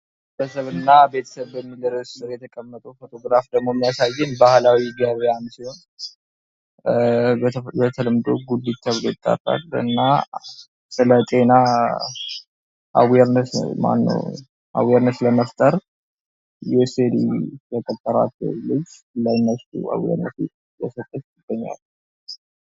ቤተሰብ እና ማህበረስብ በሚል ርእስ የተቀመጠው ፎትግራፍ የሚያሳየው ደግሞ ባህላዊ ገቢያን ነው። በተለምዶ ጉልት ተብሎ ይጠራል። እና ስለጤና አዌርነስ ለመፍጠር